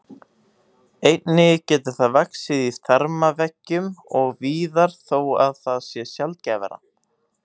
Einnig getur það vaxið í þarmaveggjum og víðar þó að það sé sjaldgæfara.